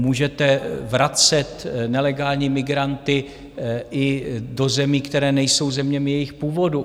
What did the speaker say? Můžete vracet nelegální migranty i do zemí, které nejsou zeměmi jejich původu.